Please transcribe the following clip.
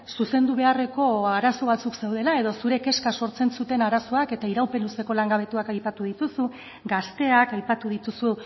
zuzendu beharreko arazo batzuk zeudela edo zure kezka sortzen zuten arazoak eta iraupen luzeko langabetuak aipatu dituzu gazteak aipatu dituzu